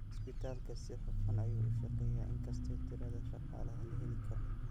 Cisbitaalku si hufan ayuu u shaqeeyaa inkastoo tirada shaqaalaha la heli karo.